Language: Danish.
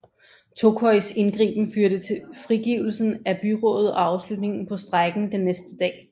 Tokois indgriben førte til frigivelse af byrådet og afslutning på strejken den næste dag